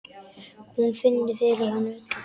Hún finnur fyrir honum öllum.